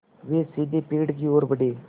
वे सीधे पेड़ की ओर बढ़े